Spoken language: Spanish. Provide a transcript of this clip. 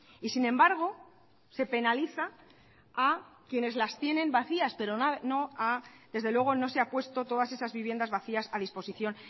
y sin embargo se penaliza a quienes las tienen vacías pero desde luego no se ha puesto todas esas viviendas vacías a disposición